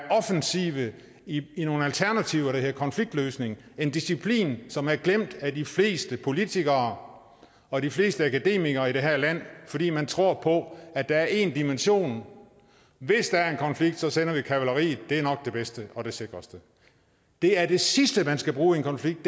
offensive i nogle alternativer der hedder konfliktløsning en disciplin som er glemt af de fleste politikere og de fleste akademikere i det her land fordi man tror på at der er én dimension hvis der er en konflikt sender vi kavaleriet det er nok det bedste og det sikreste det er det sidste som man skal bruge i en konflikt